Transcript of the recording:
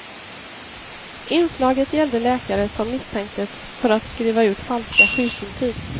Inslaget gällde läkare som misstänktes för att skriva ut falska sjukintyg.